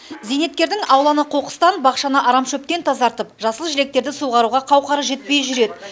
зейнеткердің ауланы қоқыстан бақшаны арамшөптен тазартып жасыл желектерді суғаруға қауқары жетпей жүр еді